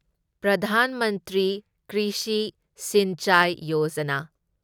Pradhan Mantri Krishi Sinchai Yojana